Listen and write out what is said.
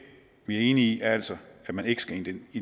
vi er enige i er altså at man ikke skal